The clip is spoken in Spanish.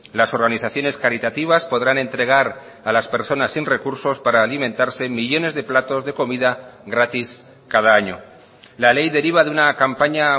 las organizaciones caritativas podrán entregar a las personas sin recursos para alimentarse millónes de platos de comida gratis cada año la ley deriva de una campaña